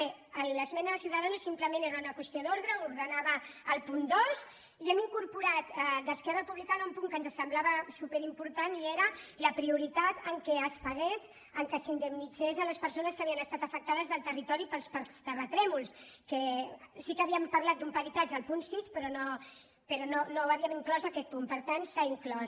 bé l’esmena de ciudadanos sim·plement era una qüestió d’ordre ordenava el punt dos i hem incorporat d’esquerra republicana un punt que ens semblava superimportant i era la prioritat que es pagués que s’indemnitzés les persones que havien es·tat afectades del territori pels terratrèmols que sí que havíem parlat d’un peritatge al punt sis però no havíem inclòs aquest punt per tant s’ha inclòs